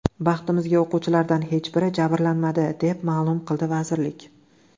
Baxtimizga, o‘quvchilardan hech biri jabrlanmadi”, deb ma’lum qildi vazirlik.